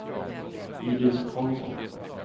Iris Karlsson